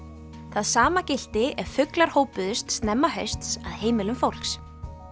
það sama gilti ef fuglar hópuðust snemma hausts að heimilum fólks